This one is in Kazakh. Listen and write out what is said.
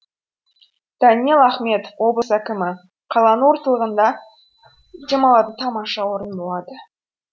даниал ахметов облыс әкімі қаланың ортылығында демалатын тамаша орын болады